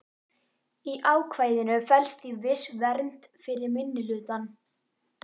Í ákvæðinu felst því viss vernd fyrir minnihlutann.